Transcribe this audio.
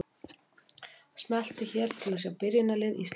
Smelltu hér til að sjá byrjunarlið Íslands.